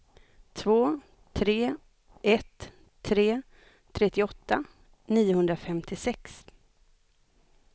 två tre ett tre trettioåtta niohundrafemtiosex